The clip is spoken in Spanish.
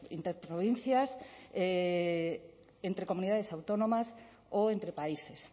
interprovincias entre comunidades autónomas o entre países